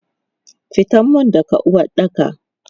Fitan mun daga uwaɗɗaka!